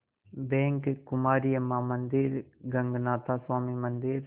bank Kumari Amman मंदिर गगनाथा स्वामी मंदिर